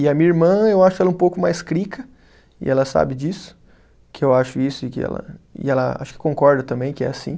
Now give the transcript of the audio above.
E a minha irmã, eu acho ela um pouco mais crica, e ela sabe disso, que eu acho isso, e que ela, e ela acho que concorda também que é assim.